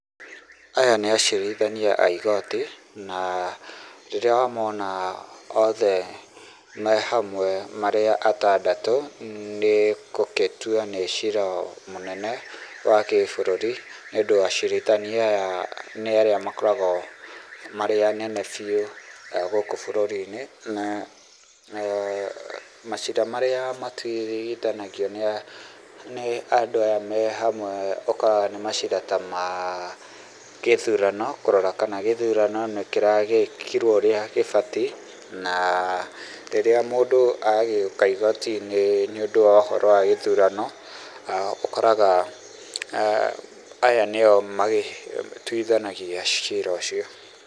Aya nĩ acirithania a igoti na rĩrĩa wamona oothe mehamwe marĩ atandatũ nĩ gũgĩtua nĩ cira mũnene wa gĩ bũrũri nĩ ũndũ acirithania aya nĩ arĩa makoragwo marĩ anene biũ gũkũ bũrũri -inĩ macira marĩa matuithanagio nĩ andũ aya mehamwe ũkoraga nĩ macira taa ma gĩthurano kũrora kana gĩthurano nĩkĩragĩkirwo ũrĩa gĩbatie na rĩrĩa mũndũ agĩũka igooti-inĩ nĩũndũ wa ũhoro wa gũthurano ũkoraga aya nĩo matuithanagia cira ũcio.